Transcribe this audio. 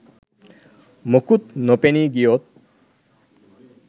මොකුත් නොපෙනී ගියොත්